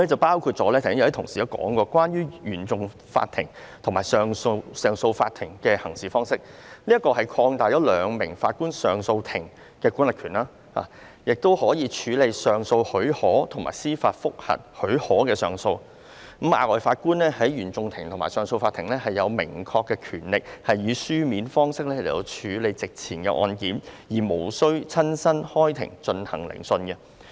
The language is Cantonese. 剛才已有同事提到，就是關於原訟法庭及上訴法庭的行事方式，即擴大兩名上訴法庭法官組成的上訴法庭的管轄權，使其亦可以處理上訴許可及司法覆核許可的上訴，而額外法官在原訟法庭或上訴法庭有明確權力以書面方式處理席前的案件，無須親身開庭進行聆訊。